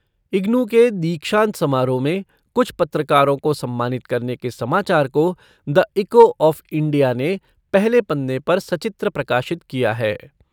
इग्नू के दीक्षांत समारोह में कुछ पत्रकारों को सम्मानित करने के समाचार को द इको ऑफ़ इंडिया ने पहले पन्ने पर सचित्र प्रकाशित किया है।